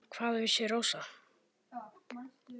Hvað vissi Rósa.